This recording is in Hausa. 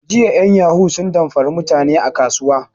Jiya en yahu sun damfari mutani a kasuwa